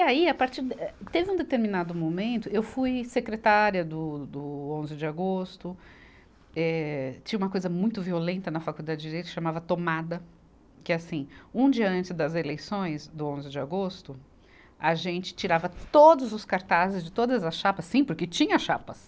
E aí, a partir eh, teve um determinado momento, eu fui secretária do, do onze de agosto, eh, tinha uma coisa muito violenta na Faculdade de Direito, chamava Tomada, que é assim, um dia antes das eleições do onze de agosto, a gente tirava todos os cartazes de todas as chapas, sim, porque tinha chapas.